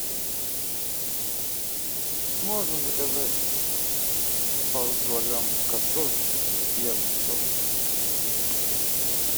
можно заказать пару килограмм картошки и огурцов